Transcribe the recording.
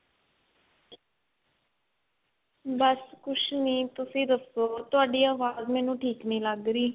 ਬੱਸ ਕੁੱਝ ਨਹੀਂ ਤੁਸੀਂ ਦੱਸੋ ਤੁਹਾਡੀ ਆਵਾਜ਼ ਮੈਨੂੰ ਠੀਕ ਨਹੀਂ ਲੱਗ ਰਹੀ